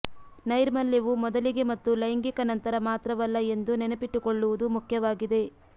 ನೈರ್ಮಲ್ಯವು ಮೊದಲಿಗೆ ಮತ್ತು ಲೈಂಗಿಕ ನಂತರ ಮಾತ್ರವಲ್ಲ ಎಂದು ನೆನಪಿಟ್ಟುಕೊಳ್ಳುವುದು ಮುಖ್ಯವಾಗಿದೆ